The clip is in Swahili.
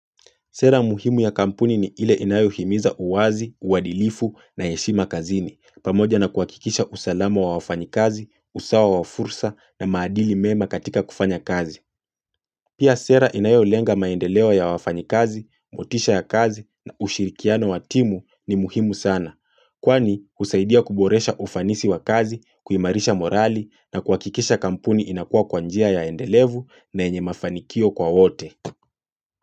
Sera muhimu ya kampuni ni ile inayuhimiza uwazi, uwadilifu na yeshima kazini, pamoja na kuwakikisha usalama wa wafanyikazi, usawa wa fursa na maadili mema katika kufanya kazi. Pia sera inayuhilenga maendelewa ya wafanyikazi, motisha ya kazi na ushirikiano wa timu ni muhimu sana. Kwani usaidia kuboresha ufanisi wa kazi, kuimarisha morali na kuwakikisha kampuni inakua kwa njia ya endelevu na enye mafanikio kwa wote.